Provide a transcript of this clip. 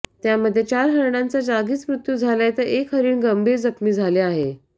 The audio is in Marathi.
त्यामध्ये चार हरणांचा जागीच मृत्यू झालाय तर एक हरीण गंभीर जखमी झाले आहे